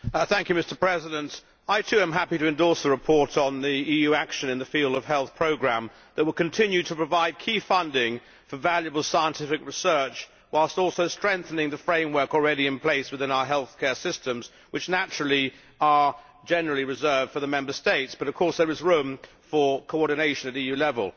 Mr President, I too am happy to endorse the report on the EU action in the field of health programmes which will continue to provide key funding for valuable scientific research whilst also strengthening the framework already in place within our healthcare systems, which naturally are generally reserved for the Member States, but of course there is room for coordination at EU level.